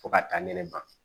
Fo ka taa ɲɛnɛma